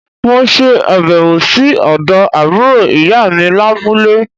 Mo se àbèwò sí òdo àbúrò ìyá mi lábúlé